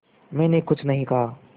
मैंने कुछ नहीं कहा